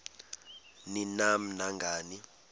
ni nam nangani